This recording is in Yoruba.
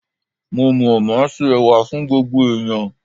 Mo mọ̀, màá se Ẹ̀wà fún gbogbo ẹ̀yàn.